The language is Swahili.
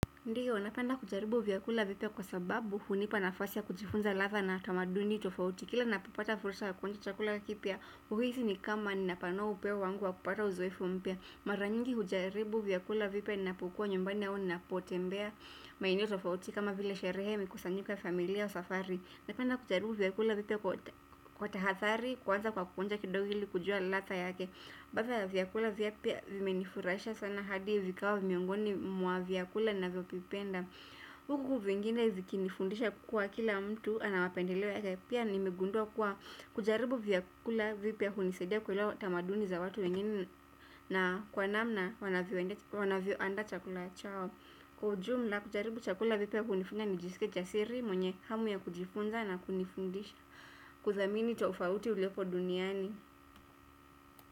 Ndiyo, napenda kujaribu vyakula vipya kwa sababu hunipa nafasi ya kujifunza latha na tamaduni tofauti. Kila napopata fursa ya kuonja chakula kipya huhisi ni kama nina panua upeo wangu wa kupata uzoefu mpya. Mara nyingi hujaribu vyakula vipya ninapokua nyumbani au ninapotembea maeneo tofauti kama vile sherehe mikusanyiko ya familia wa safari. Napenda kujaribu vyakula vipya kwa tahathari kwanza kwa kuonja kidogo ili kujua latha yake. Baadhi ya vyakula vipya vimenifurahisha sana hadi vikawa miongoni mwa viakula ninavyovipenda huku vingine viki nifundisha kuwa kila mtu anamapendeleo yake pia nimegundua kuwa kujaribu vyakula vipya hunisaidia kuelewa tamaduni za watu wengine na kwa namna wanavyo andaa chakula chao. Kwa ujumla kujaribu chakula vipya hunifanya nijiskie jasiri mwenye hamu ya kujifunza na kunifundisha kuzamini tofauti uliopo duniani.